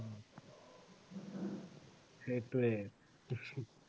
সেইটোৱেই